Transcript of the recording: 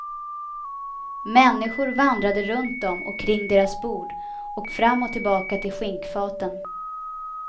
Människor vandrade runt dem och kring deras bord och fram och tillbaka till skinkfaten.